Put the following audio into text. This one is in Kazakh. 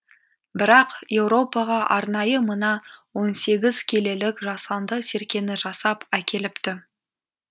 бірақ еуропаға арнайы мына он сегіз келілік жасанды серкені жасап әкеліпті